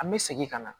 An bɛ segin ka na